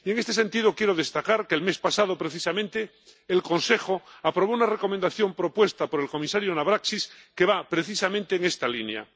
Y, en este sentido, quiero destacar que el mes pasado precisamente el Consejo aprobó una recomendación propuesta por el comisario Navracsics que va precisamente en esta línea.